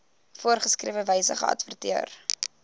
voorgeskrewe wyse geadverteer